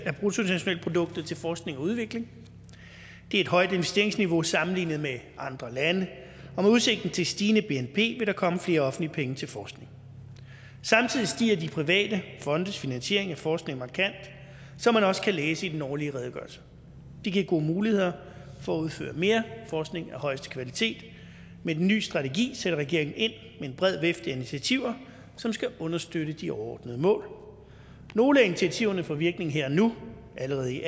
af bruttonationalproduktet til forskning og udvikling det er et højt investeringsniveau sammenlignet med andre lande og med udsigt til stigende bnp vil der komme flere offentlige penge til forskning samtidig stiger de private fondes finansiering af forskning markant som man også kan læse i den årlige redegørelse det giver gode muligheder for at udføre mere forskning af højeste kvalitet med den nye strategi sætter regeringen ind med en bred vifte af initiativer som skal understøtte de overordnede mål nogle af initiativerne får virkning her og nu allerede i